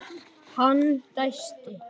Hann dæsti.